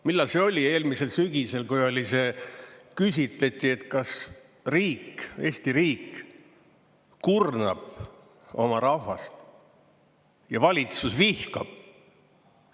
Millal see oli, eelmisel sügisel, kui oli see, küsitleti, et kas riik, Eesti riik kurnab oma rahvast ja valitsus vihkab.